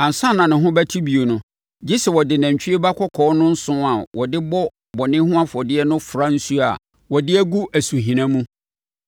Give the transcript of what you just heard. “Ansa na ne ho bɛte bio no, gye sɛ wɔde nantwie ba kɔkɔɔ no nsõ a wɔde bɔ bɔne ho afɔdeɛ no fra nsuo a wɔde agu asuhina mu.